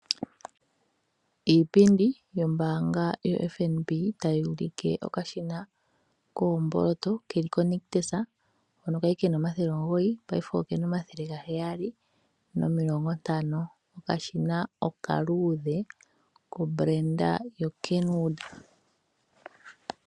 Iipindi yombaanga ya FNB ta yi ulike okashina koomboloto ke li koNictus kali kena omathele ge li omugoyi, paife okena omathele ga geyali nomilongo ntano. Okashina okaluudhe, kehangano lya Kenwood.